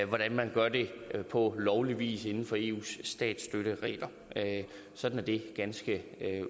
hvordan man gør det på lovlig vis inden for eus statsstøtteregler sådan er det ganske